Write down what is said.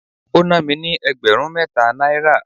ó ná mi ní ẹgbẹ̀rún mẹ́ta náírà.